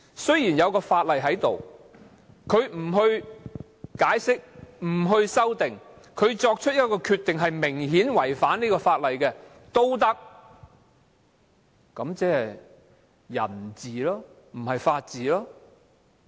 雖然有法例，但不解釋、不修訂而作出明顯違反法例的決定，這即是人治，而非法治。